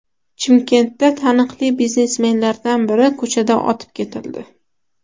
Chimkentda taniqli biznesmenlardan biri ko‘chada otib ketildi.